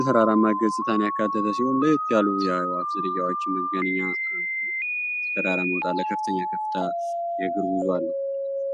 የተራራማ ገፅታን ያካተተ ሲሆን የተለያዩ የአዕዋፍ ዝርያዎችም ይገኛሉ። ወደ ተራራው ለመውጣት ከፍተኛ የሆነ የእግር ጉዞ አለው።